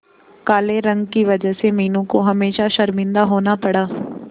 काले रंग की वजह से मीनू को हमेशा शर्मिंदा होना पड़ा